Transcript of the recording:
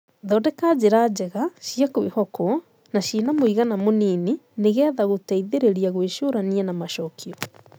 Thondeka njĩra njega, cia kwĩhokwo, na cina mũigana mũnini nĩ getha gũteithĩrĩria gwĩcũrania na macokio.